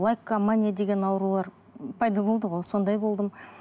лайкомания деген аурулар пайда болды ғой сондай болдым